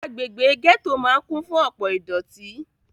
Agbègbè gẹ́tò máà kún fún ọ̀pọ ìdọ̀tí.